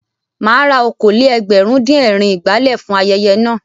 Mà á ra okòó-lé-ẹgbẹ̀rún-dín-ẹ̀rin ìgbálẹ̀ fún ayẹyẹ náà.